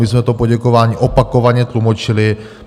My jsme to poděkování opakovaně tlumočili.